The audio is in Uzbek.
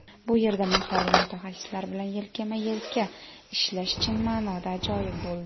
Bu yerda mahalliy mutaxassislar bilan yelkama-elka ishlash chin ma’noda ajoyib bo‘ldi.